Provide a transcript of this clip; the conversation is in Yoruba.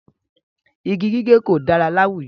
Igi gígé kò dára láwùjọ.